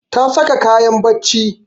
Ta saka kayan barci